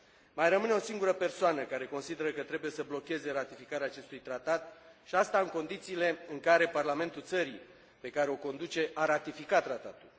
Mai rămâne o singură persoană care consideră că trebuie să blocheze ratificarea acestui tratat, și asta în condițiile în care parlamentul țării pe care o conduce a ratificat tratatul.